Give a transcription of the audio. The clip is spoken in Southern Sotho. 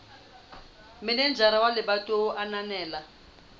manejara wa lebatowa a ananela